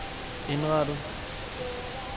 indrettet